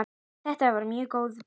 Þetta var mjög góð byrjun.